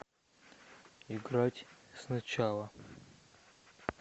играть сначала